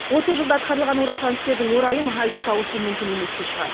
отыз жылда атқарылған орасан істердің орайын айтып тауысу мүмкін емес те шығар